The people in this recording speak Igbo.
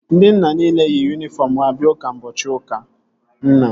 Ndị nna nile yi yunifọm ha bịa ụka ụbọchị ụka nna